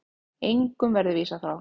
Engum verði vísað frá.